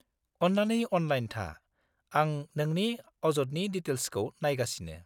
-अन्नानै अनलाइन था, आं नोंनि अजदनि दिटेल्सखौ नायगासिनो।